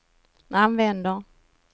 använder